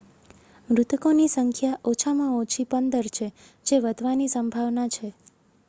મૃતકોની સંખ્યા ઓછામાં ઓછી 15 છે જે વધવાની સંભાવના છે